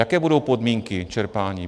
Jaké budou podmínky čerpání?